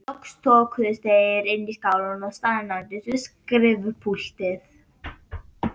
Loks þokuðust þeir innar í skálann og staðnæmdust við skrifpúltið.